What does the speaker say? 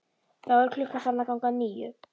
Þá er klukkan farin að ganga níu.